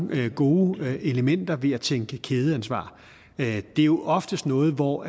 gode elementer ved at tænke kædeansvar det er jo oftest noget hvor